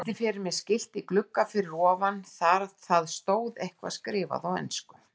Virti fyrir mér skilti í glugga fyrir ofan, það stóð eitthvað skrifað á ensku.